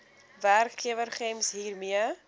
werkgewer gems hiermee